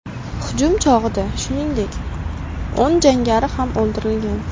Hujum chog‘ida, shuningdek o‘n jangari ham o‘ldirilgan.